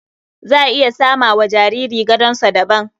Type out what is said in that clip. Za a iya sama wa jariri gadonsa daban.